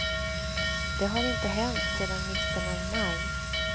Det har inte hänt sedan mitten av maj.